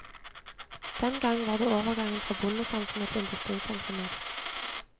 Den gang var det overgangen fra bondesamfunnet til industrisamfunnet.